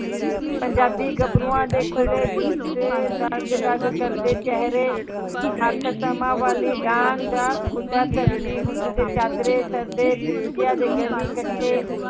ਪੰਜਾਬੀ ਗੱਭਰੂਆਂ ਦੇ ਖੁੱਲੇ ਜੁੱਸੇ ਦਗ ਦਗ ਕਰਦੇ ਚਿਹਰੇ, ਹੱਥ ਸਮਾਂ ਵਾਲੀ ਡਾਂਗ ਜਾਂ ਖੁੱਡਾ ਧਰਤੀ ਹੁੰਜ ਦੇ ਚਾਦਰੇ ਸਿਰ ਤੇ ਦੇ ਗਲੀ ਕੱਠੇ